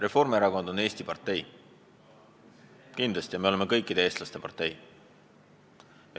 Reformierakond on Eesti partei, kindlasti me oleme ka kõikide eestlaste partei.